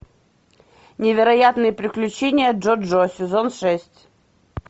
невероятные приключения джо джо сезон шесть